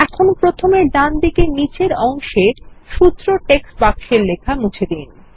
এখানে প্রথমেডানদিকে নীচের অংশে সূত্র টেক্সট বাক্সের লেখা মুছে দিন